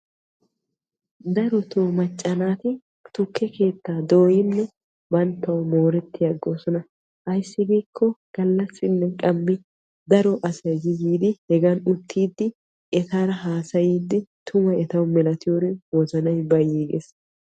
Darotoo macca naati tukke keettaa dooyinnee banttawu mooretti aggoosona. ayssi giikko galaassinne qammi daro asay yi yiidi hegan uttiidi etaara hasayiidi tuma etawu milatiyoorin wozanay etawu bayi aggees.